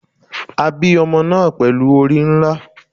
A bi omo naa pelu ori nla